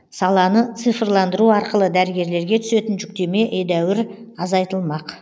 саланы цифрландыру арқылы дәрігерлерге түсетін жүктеме едәуір азайтылмақ